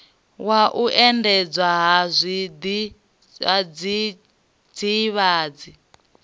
wa u endedzwa ha zwidzidzivhadzi